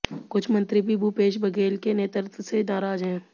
कुछ मंत्री भी भूपेश बघेल के नेतृत्व से नाराज हैं